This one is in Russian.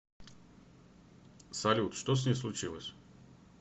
салют что с ней случилось